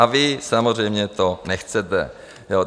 A vy samozřejmě to nechcete.